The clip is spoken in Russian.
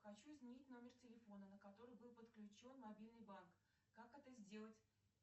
хочу изменить номер телефона на который был подключен мобильный банк как это сделать